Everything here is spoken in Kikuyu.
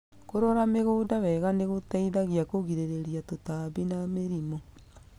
Kũrora mĩgũnda wega nĩ gũteithagia kũgirĩrĩria tũtambi na mĩrimũ.